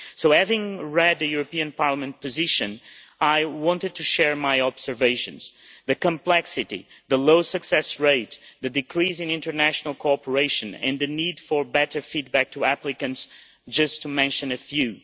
Having read the Parliament position, I wanted to share my observations the complexity, the low success rate, the decrease in international cooperation and the need for better feed back to applicants, just to mention a few.